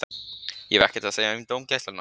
Ég hef ekkert að segja um dómgæsluna.